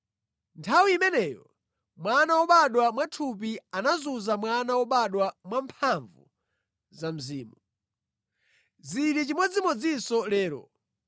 Nthawi imeneyo mwana wobadwa mwathupi anazunza mwana wobadwa mwamphamvu za Mzimu. Zili chimodzimodzinso lero.